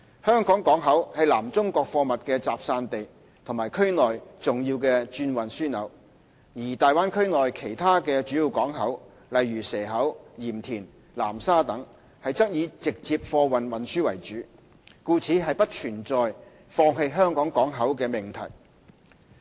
香港港口是南中國貨物的集散地和區內重要轉運樞紐，而大灣區內的其他主要港口則以直接貨物運輸為主，故不存在放棄香港港口的命題。